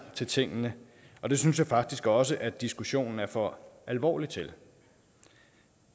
til tingene og det synes jeg faktisk også at diskussionen er for alvorlig til